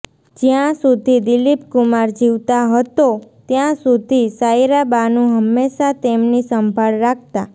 જ્યાં સુધી દિલીપ કુમાર જીવતા હતો ત્યાં સુધી સાયરા બાનુ હંમેશા તેમની સંભાળ રાખતા